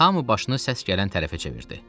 Hamı başını səs gələn tərəfə çevirdi.